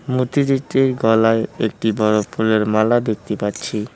মূর্তিজিটির গলায় একটি বড়ো ফুলের মালা দেখতে পাচ্ছি।